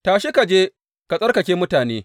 Tashi, ka je ka tsarkake mutane.